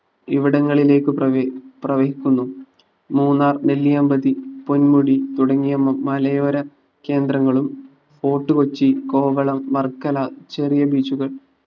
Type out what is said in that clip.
ഇവിടങ്ങളിലേക്ക് പ്രവഹി പ്രവഹിക്കുന്നു മൂന്നാർ നെല്യാമ്പതി പൊൻമുടി തുടങ്ങിയ മമ മലയോര കേന്ദ്രങ്ങളും ഫോർട്ട് കൊച്ചി കോവളം വർക്കല ചെറിയ beach കൾ